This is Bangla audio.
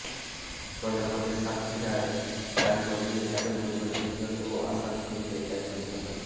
বজ্রপাতে সাতক্ষীরার কালীগঞ্জে একই পরিবারের তিনজন ও আশাশুনিতে একজন নিহত